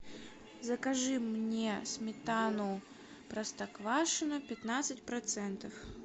закажи мне сметану простоквашино пятнадцать процентов